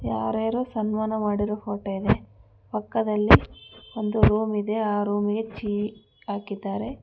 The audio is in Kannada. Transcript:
ಯಾರ್ ಯಾರೋ ಸನ್ಮಾನ ಮಾಡಿರೋ ಫೋಟೋ ಇದೆ ಪಕ್ಕದಲ್ಲಿ ಒಂದು ರೂಮ್ ಇದೆ ಆ ರೂಮಿಗೆ ಚೀಲಿ ಹಾಕಿದ್ದಾರೆ.